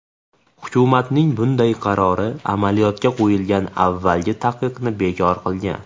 Hukumatning bunday qarori amaliyotga qo‘yilgan avvalgi taqiqni bekor qilgan.